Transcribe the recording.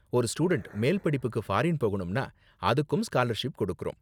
ஒரு ஸ்டூடண்ட் மேல்படிப்புக்கு ஃபாரீன் போகணும்னா அதுக்கும் ஸ்காலர்ஷிப் கொடுக்கறோம்.